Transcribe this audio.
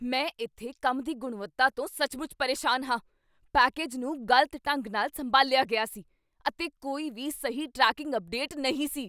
ਮੈਂ ਇੱਥੇ ਕੰਮ ਦੀ ਗੁਣਵੱਤਾ ਤੋਂ ਸੱਚਮੁੱਚ ਪਰੇਸ਼ਾਨ ਹਾਂ। ਪੈਕੇਜ ਨੂੰ ਗ਼ਲਤ ਢੰਗ ਨਾਲ ਸੰਭਾਲਿਆ ਗਿਆ ਸੀ, ਅਤੇ ਕੋਈ ਵੀ ਸਹੀ ਟਰੈਕਿੰਗ ਅਪਡੇਟ ਨਹੀਂ ਸੀ!